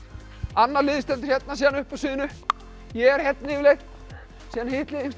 annað liðið stendur hérna síðan uppi á sviðinu ég er hérna yfirleitt síðan hitt liðið